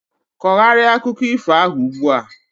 kogharịa akụkọ ifo ahu ugbu a!